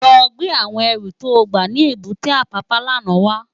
Lò gbé áwòn èrú tó gbá ni ébùté Apapa làná wá